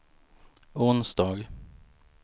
onsdag